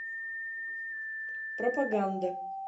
пропаганда